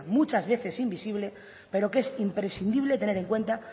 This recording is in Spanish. muchas veces invisible pero que es imprescindible tener en cuenta